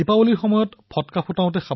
দিপাৱলীত আমি ফটকাৰ ব্যৱহাৰ কৰো